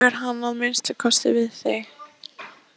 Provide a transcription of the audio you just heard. Eitthvað hefur hann að minnsta kosti séð við þig.